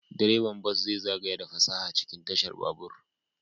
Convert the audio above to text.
Direban bas zai zagaya da fasaha cikin tashar babur.